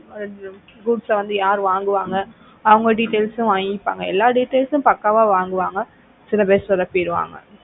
அங்க goods வந்து யார் வாங்குவாங்க அவங்க details வாங்கிப்பாங்க எல்லா details உம் பக்காவா வாங்குவாங்க சில பேர் சொதப்பிடுவாங்க